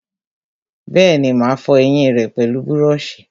Bẹ́ẹ̀ni, mà á fọ ẹyìn rẹ pẹlú búrọ̀sì